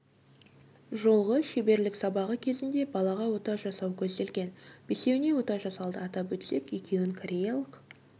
жолғы шеберлік сабағы кезінде балаға ота жасау көзделген бесеуіне ота жасалды атап өтсек екеуін кореялық